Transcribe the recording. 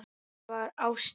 Það var ástin.